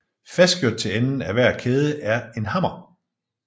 Fastgjort til enden af hver kæde er en hammer